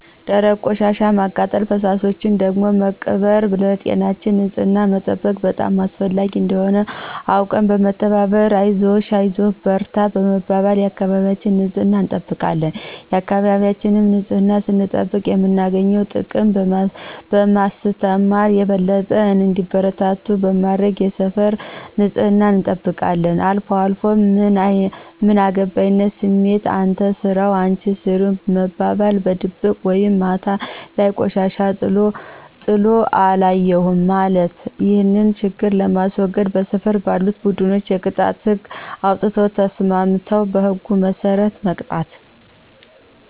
ደረቅ ቆሻሻን በማቃጠል ፈሳሾችን ደግሞ በመቅበር ለጤናችን ንፅህናን መጠበቅ በጣም አስፈላጊ እንደሆነ አውቀን በመተባበር አይዞሽ አይዞህ በርታ በመባባል የአካባቢያችን ንፅህና እንጠብቃለን የአካባቢያችን ንፅህናን ስንጠብቅ የምናገኘውን ጥቅም በማስተማር የበለጠ እንዲበረታቱ በማድረግ የሰፈር ንፅህናን እንጠብቃለን። አልፏልፎ ምን አገባይነት ስሜት፣ አንተ ስራው አንች ስሪው መባባል፣ በድብቅ ወይም ማታ ላይ ቆሻሻ ጥሎ አለየሁም ማለት። ይህን ችግር ለማስዎገድ በሰፈር ባሉት ቡድኖች የቅጣት ህግ አውጥተው ተስማምተው በህጉ መስረት መቅጣት።